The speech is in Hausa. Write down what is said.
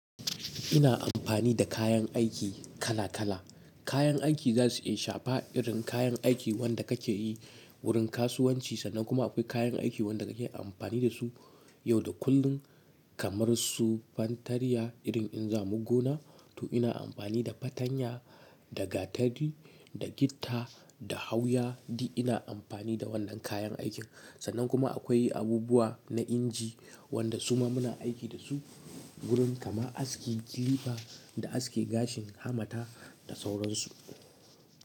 Ina amfani da kayan aiki kala kala. Kayan aiki zasu iya shafa irin kayan aiki wanda ka ke yi wurin kasuwanci sanan. Kuma akwai kayan aiki wanda ka ke amfani da su yau da kullun kamar su fantariya. Irin in za mu gona to ina amfani da fatanya, da gatari, da gitta, da hawya. Di ina amfani da wannan kayan aikin. Sannan kuma akwai abubuwa na inji wanda suma muna aiki da su wurin kama aski kilifa da aske gashin hamata da sauransu.